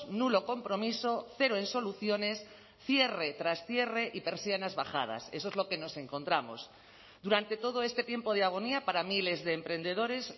nulo compromiso cero en soluciones cierre tras cierre y persianas bajadas eso es lo que nos encontramos durante todo este tiempo de agonía para miles de emprendedores